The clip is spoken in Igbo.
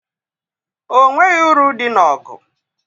O nweghị uru dị n'ọgụ.